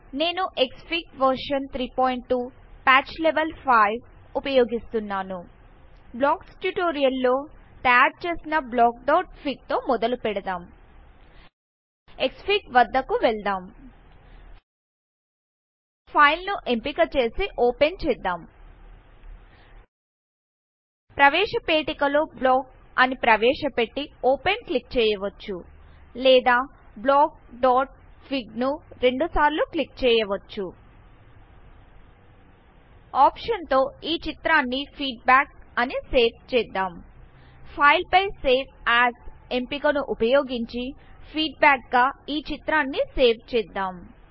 నేను Xfig version 32 patch level 5 ఉపయోగిస్తున్నాను blocks tutorial లో తయారు చేసిన blockఫిగ్ తో మొదలు పెడదాం క్స్ఫిగ్ వద్దకు వెళ్దాం ఫైల్ ను ఎంపిక చేసి ఓపెన్ చేద్దాం ప్రవేశ పేటికలో బ్లాక్ అని ప్రవేశపెట్టి ఓపెన్ క్లిక్ చేయవచ్చు లేదా బ్లాక్ఫి గ్ ను రెండు సార్లు క్లిక్ చేయవచ్చు ఆప్షన్ తో ఈ చిత్రాన్ని ఫీడ్బ్యాక్ అని సేవ్ చేద్దాం ఫైల్ పై సేవ్ ఏఎస్ ఎంపికను ఉపయోగించి ఫీడ్బ్యాక్ గా ఈ చిత్రాన్ని సేవ్ చేద్దాం